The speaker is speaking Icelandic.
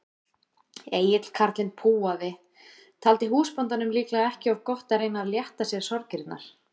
Egill karlinn púaði, taldi húsbóndanum líklega ekki of gott að reyna að létta sér sorgirnar.